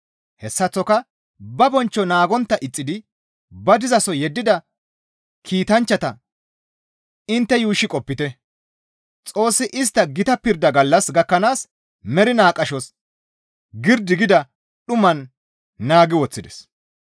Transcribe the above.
Hessaththoka ba bonchcho naagontta ixxidi ba dizaso yeddida kiitanchchata intte yuushshi qopite; Xoossi istta gita pirdaa gallas gakkanaas mernaa qashos girdi gida dhuman naagi woththides.